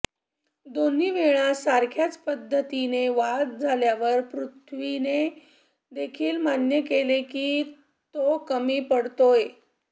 दोन्ही वेळा सारख्याच पद्धतीने बाद झाल्यावर पृथ्वीने देखील मान्य केले की तो कमी पडतोय